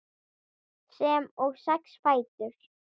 sem og sex fætur.